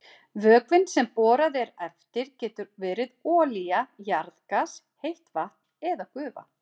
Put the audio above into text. Vökvinn sem borað er eftir getur verið olía, jarðgas, heitt vatn eða gufa.